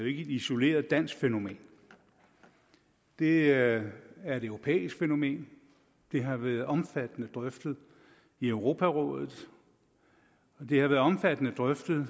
ikke et isoleret dansk fænomen det er er et europæisk fænomen det har været omfattende drøftet i europarådet det har været omfattende drøftet